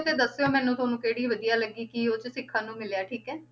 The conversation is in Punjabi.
ਦੱਸਿਓ ਮੈਨੂੰ ਤੁਹਾਨੂੰ ਕਿਹੜੀ ਵਧੀਆ ਲੱਗੀ ਕੀ ਉਹ 'ਚ ਸਿੱਖਣ ਨੂੰ ਮਿਲਿਆ ਠੀਕ ਹੈ,